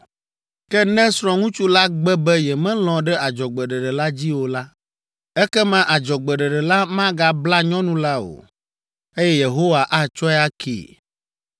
Ke ne srɔ̃ŋutsu la gbe be yemelɔ̃ ɖe adzɔgbeɖeɖe la dzi o la, ekema adzɔgbeɖeɖe la megabla nyɔnu la o, eye Yehowa atsɔe akee.